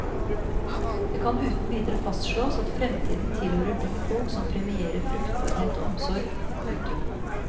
Det kan uten videre fastslås at fremtiden tilhører de folk som premierer fruktbarhet og omsorg. punktum